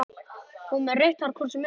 Hún var með rautt hvort sem er.